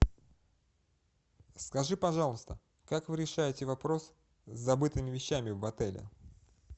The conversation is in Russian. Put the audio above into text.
скажи пожалуйста как вы решаете вопрос с забытыми вещами в отеле